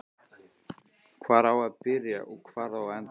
Hvar á að byrja og hvar á að enda?